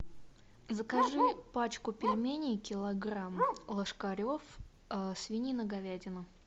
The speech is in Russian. закажи пачку пельменей килограмм ложкарев свинина говядина